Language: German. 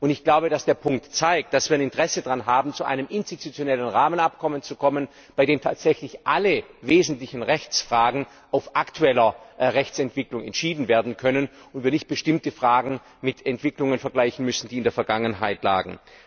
Ich glaube, dass dieser Punkt zeigt, dass wir ein Interesse daran haben, zu einem institutionellen Rahmenabkommen zu kommen, bei dem tatsächlich alle wesentlichen Rechtsfragen auf Grundlage der aktuellen Rechtsentwicklung entschieden werden können, und wir nicht bestimmte Fragen mit Entwicklungen vergleichen müssen, die in der Vergangenheit lagen.